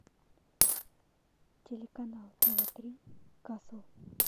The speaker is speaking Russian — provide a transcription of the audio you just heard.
телеканал тв три касл